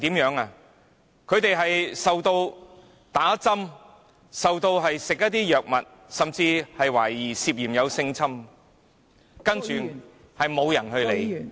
他們被打針、被餵吃藥物，甚至懷疑涉及性侵犯，卻沒有人理會......